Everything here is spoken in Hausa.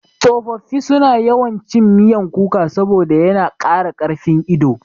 Tsofaffi suna yawan cin miyan kuka saboda yana ƙara ƙarfin ido.